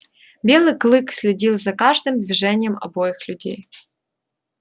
белый клык следил за каждым движением обоих людей